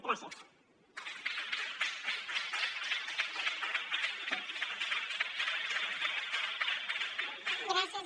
gràcies